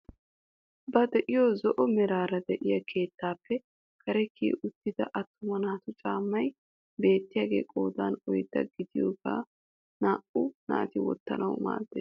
Ba de'iyoo zo'o meraara de'iyaa keettaappe kare kiyi uttida attuma naatu caammay bettiyaagee qoodan oyddaa gidiyaagee naa"u naati wottanawu maaddees.